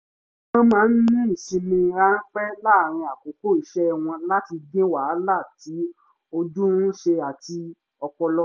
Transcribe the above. wọ́n máa ń ní ìsinmi ránpẹ́ láàárín àkókò iṣẹ́ wọ́n láti dín wàhálà tí ojú ń ṣe àti ti ọpọlọ